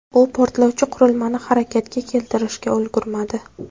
U portlovchi qurilmani harakatga keltirishga ulgurmadi.